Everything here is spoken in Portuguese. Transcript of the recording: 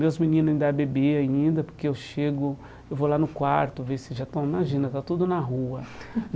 Meus meninos ainda é bebe ainda, porque eu chego, eu vou lá no quarto ver se já estão, imagina, está tudo na rua.